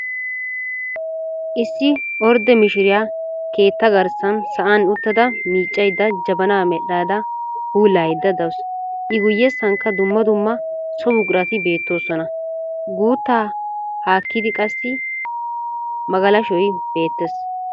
Issi ordde mishsiriyaa keettaa garssan sa"an uttada miiccaydda jabanaa medhada puulayayda dawusu. i guyessankka dumma dumma so buqurati beettoosona. guuttaa haakkidi qaassi magalashshoy beettees.